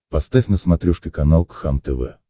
поставь на смотрешке канал кхлм тв